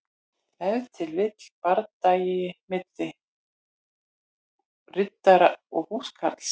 Ef til vill bardagi milli riddara og húskarls.